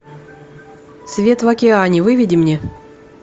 свет в океане выведи мне